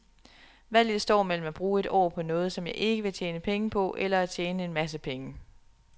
Valget står mellem at bruge et år på noget, som jeg ikke vil tjene penge på, eller at tjene en masse penge.